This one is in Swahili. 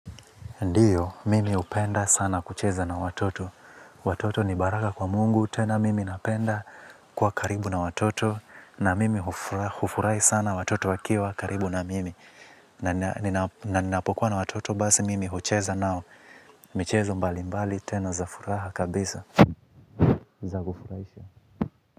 Ndio, mimi hupenda sana kucheza na watoto. Watoto ni baraka kwa mungu, tena mimi napenda kuwa karibu na watoto. Na mimi hufurahi sana watoto wakiwa karibu na mimi. Na ninapokuwa na watoto, basi mimi hucheza nao. Michezo mbali mbali, tena za furaha kabisa. Za kufurahisha.